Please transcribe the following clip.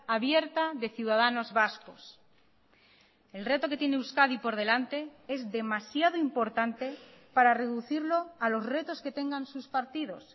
abierta de ciudadanos vascos el reto que tiene euskadi por delante es demasiado importante para reducirlo a los retos que tengan sus partidos